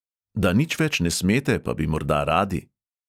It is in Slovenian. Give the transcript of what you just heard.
Da nič več ne smete, pa bi morda radi?